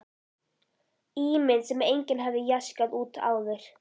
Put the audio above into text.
Ímynd sem enginn hafði jaskað út áður.